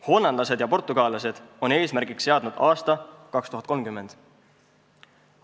Hollandlased ja portugallased on eesmärgiks seadnud aasta 2030.